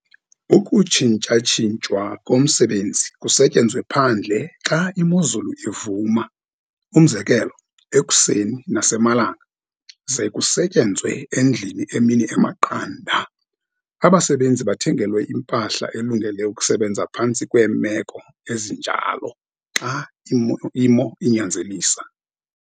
Ukutshintshatshintshwa komsebenzi, kusetyenzwe phandle xa imozulu ivuma, umzekelo ekuseni nasemalanga, ze kusetyenzwe endlini emini emaqanda. Abasebenzi bathengelwe impahla elungele ukusebenza phantsi kwemeko ezinjalo, xa imo inyanzelisa.